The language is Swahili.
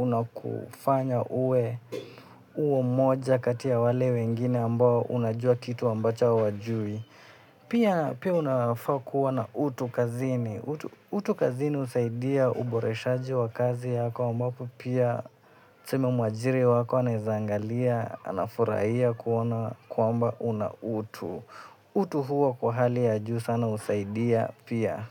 unakufanya uwe mmoja kati ya wale wengine ambao unajua kitu ambacho hawajui. Pia unafaa kuwa na utu kazini. Utu kazini husaidia uboreshaji wa kazi yako, ambapo pia tuseme mwajiri wako anaweza angalia, anafurahia kuona kwamba una utu. Utu huwa kwa hali ya juu sana husaidia pia.